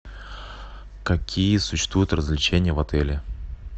какие существуют развлечения в отеле